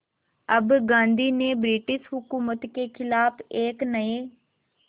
अब गांधी ने ब्रिटिश हुकूमत के ख़िलाफ़ एक नये